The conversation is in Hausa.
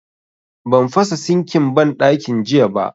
Ban fasa sinkin banɗakin jiya ba